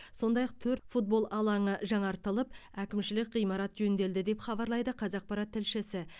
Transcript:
сондай ақ төрт футбол алаңы жаңартылып әкімшілік ғимарат жөнделді деп хабарлайды қазақпарат тілшісі